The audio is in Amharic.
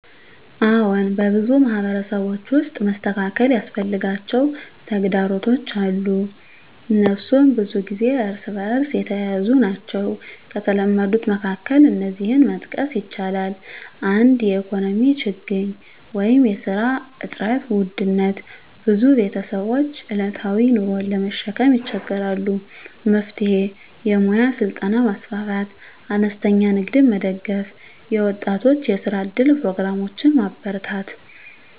አዎን፣ በብዙ ማህበረሰቦች ውስጥ መስተካከል ያስፈልጋቸው ተግዳሮቶች አሉ፤ እነሱም ብዙ ጊዜ እርስ በእርስ የተያያዙ ናቸው። ከተለመዱት መካከል እነዚህን መጥቀስ ይቻላል፦ 1) የኢኮኖሚ ችግኝ (ስራ እጥረት፣ ውድነት): ብዙ ቤተሰቦች ዕለታዊ ኑሮን ለመሸከም ይቸገራሉ። መፍትሄ: የሙያ ስልጠና ማስፋፋት፣ አነስተኛ ንግድን መደገፍ፣ የወጣቶች የስራ እድል ፕሮግራሞችን ማበርታት።